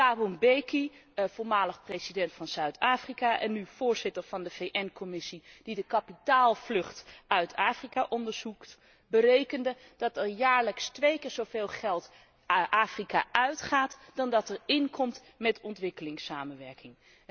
Thabo Mbeki, voormalig president van Zuid Afrika en nu voorzitter van de VN commissie die de kapitaalvlucht uit Afrika onderzoekt, berekende dat er jaarlijks twee keer zoveel geld Afrika uitgaat dan dat er in komt met ontwikkelingssamenwerking.